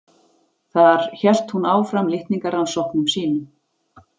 Þar hélt hún áfram litningarannsóknum sínum.